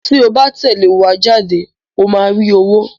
Tí o bá tẹ̀lé wa jáde ó máa rí owó.